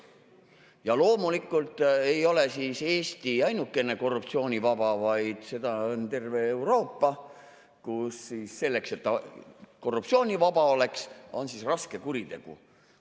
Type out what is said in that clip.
Ja loomulikult ei ole Eesti ainukesena korruptsioonivaba, vaid seda on terve Euroopa, kus selleks, et ta korruptsioonivaba oleks, on raske kuritegu.